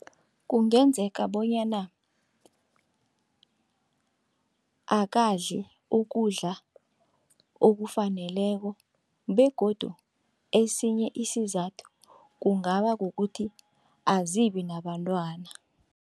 Kungenzeka bonyana akadli ukudla okufaneleko begodu esinye isizathu kungaba kukuthi azibi nabantwana.